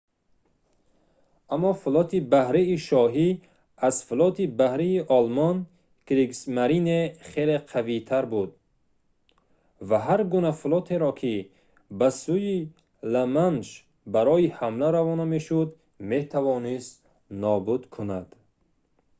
аммо флоти баҳрии шоҳӣ аз флоти баҳрии олмон кригсмарине хеле қавитар буд ва ҳар гуна флотеро ки ба сӯи ла-манш барои ҳамла равона мешуд метавонист нобуд кунад